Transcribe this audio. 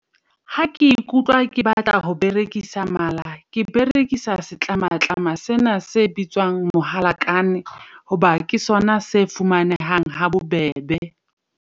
Ha ke ikutlwa ke batla ho berekisa Mala ke berekisa setlamatlama sena se bitswang mohalakane. Hoba ke sona se fumanehang ha bobebe.